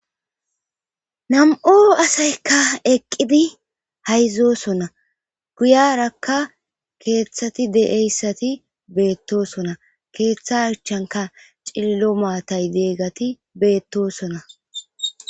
nam7u asaykka eqqidi hayzosonna guyarakka keeththati de7eyssati beettosona keeththa achanka cillo maatay deeggati beettosona